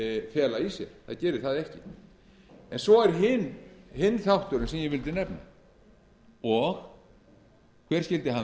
fela í sér það gerir það ekki svo er hinn þátturinn sem ég vildi nefna og hver skyldi hann